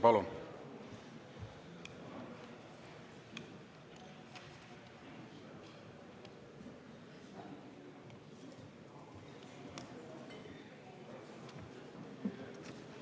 Palun!